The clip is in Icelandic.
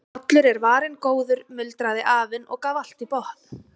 Allur er varinn góður muldraði afinn og gaf allt í botn.